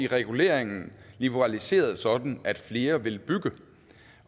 reguleringen liberaliseret sådan at flere vil bygge